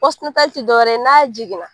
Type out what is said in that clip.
ti dɔwɛrɛ ye n'a jiginna.